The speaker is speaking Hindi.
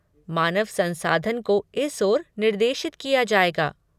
मानव संसाधन को इस ओर निर्देशित किया जाएगा।